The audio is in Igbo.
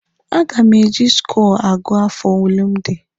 A ga m eji skọọ agụ afọ ole m dị.